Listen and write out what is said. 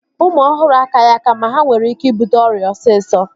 Ụmụ ọhụrụ akaghị aka ma ha nwere ike ibute ọrịa osisọ